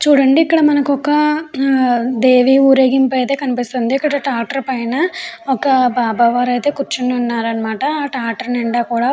చూడండి ఇక్కడ మనకి ఒక దేవి ఊరేగింపు అయతె కనిపిస్తుంది ఇక్కడ ట్రాక్టర్ పైన ఒక బాబా వారు అయితే కురుచొని వున్నారు అనమాట ఆ ట్రాక్టర్ నిండా కూడా --